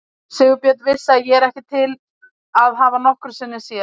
Sigurbjörn vissi ég ekki til að hafa nokkru sinni séð.